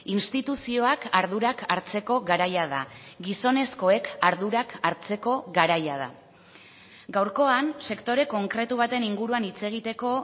instituzioak ardurak hartzeko garaia da gizonezkoek ardurak hartzeko garaia da gaurkoan sektore konkretu baten inguruan hitz egiteko